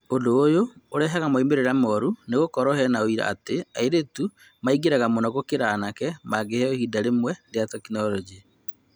ũndũ ũyũ ũrehaga moimĩrĩra moru nĩgũkorwo hena ũira wa atĩ airĩtu maingĩraga mũno gũkĩra anake mangĩheyo ihinda rĩmwe rĩa tekinoronjĩ.